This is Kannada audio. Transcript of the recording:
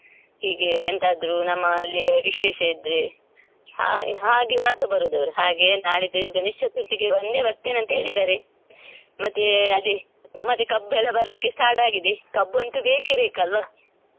ಹೀಗೆ ಎಂತಾದ್ರೂ ನಮ್ಮಲ್ಲೆ ವಿಶೇಷ ಇದ್ರೆ ಹಾಗೆ ಮಾತ್ರ ಬರೋದ್ ಅವ್ರು ಹಾಗೆ ನಾಡಿದ್ದು ಗಣೇಶ ಚತುರ್ಥಿಗೆ ಬಂದೆ ಬರ್ತೇನೆ ಅಂತ ಹೇಳಿದ್ದಾರೆ ಮತ್ತೆ ಅದೇ ಮತ್ತೆ ಕಬ್ಬೇಲ್ಲ ಬರ್ಲಿಕ್ಕೆ start ಆಗಿದೆ ಕಬ್ಬ್ ಅಂತೂ ಬೇಕೇ ಬೇಕ್ ಅಲ್ಲ್ವ .